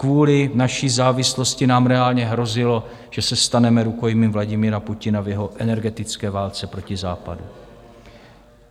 Kvůli naší závislosti nám reálně hrozilo, že se staneme rukojmím Vladimira Putina v jeho energetické válce proti západu.